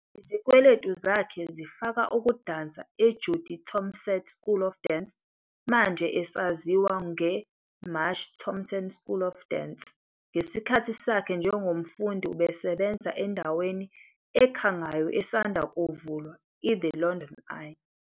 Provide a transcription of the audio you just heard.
Izikweletu zakhe zifaka ukudansa eJudy Tompsett School of Dance, manje esaziwa ngeMarsh Tompsett School of Dance. Ngesikhathi sakhe njengomfundi ubesebenza endaweni ekhangayo esanda kuvulwa, i-The London Eye.